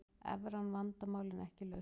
Evran vandamál en ekki lausn